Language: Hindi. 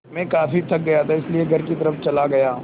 मैं काफ़ी थक गया था इसलिए घर की तरफ़ चला गया